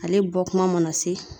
Ale bɔ kuma mana se